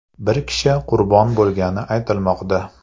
Bir kishi qurbon bo‘lgani aytilmoqda.